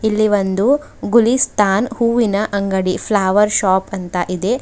ಇಲ್ಲಿ ಒಂದು ಗುಳಿಸ್ತಾನ್ ಹೂವಿನ ಅಂಗಡಿ ಫ್ಲವರ್ ಶಾಪ್ ಅಂತ ಇದೆ.